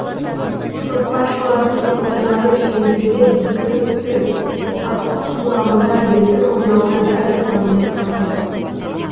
көкпаршылардың олжаны шеңберге дөп түсіріп аттың құлағында еркін ойнауына бәрі таңдай қақты